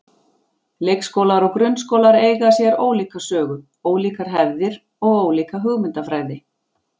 Leikskólar og grunnskólar eiga sér ólíka sögu, ólíkar hefðir og ólíka hugmyndafræði.